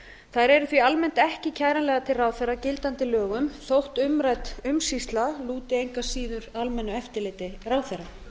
þær eru því ekki almennt kæranlegar til ráðherra að gildandi lögum þó umrædd umsýsla lúti engu að síður almennu eftirliti ráðherra